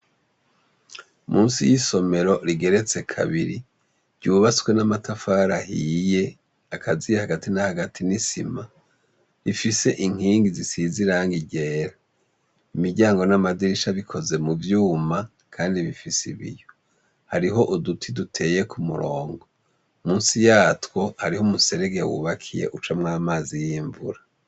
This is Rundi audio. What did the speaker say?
Munsi y'isomero rigeretse kabiri, ryubatswe n'amatafara ahiye akaziye hagati na hagati n'isima, rifise inkingi zisize irangi ryera .Imiryango n'amadirisha bikoze mu vyuma, kandi bifise ibiyo. Hariho uduti duteye ku murongo. Munsi yatwo hariho umuserege wubakiye ucamwo amazi y'imvura.